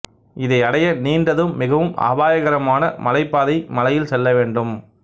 இதை அடைய நீண்டதும் மிகவும் அபாயகரமான மலைப் பாதை மலையில் செல்லவேண்டும்